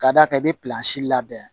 K'a d'a ka i bɛ labɛn